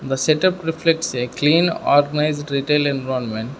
the setup reflects a clean organised retail environment.